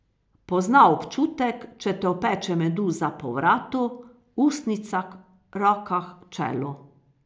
Pozna občutek, če te opeče meduza po vratu, ustnicah, rokah, čelu.